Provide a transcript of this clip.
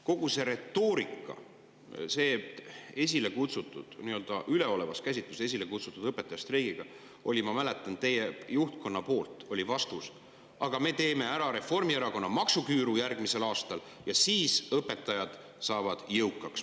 Kogu selle üleoleva käsitlusega esile kutsutud õpetajate streigi puhul, ma mäletan, oli teie juhtkonna vastus: "Aga me teeme Reformierakonna maksuküüru järgmisel aastal ja siis õpetajad saavad jõukaks.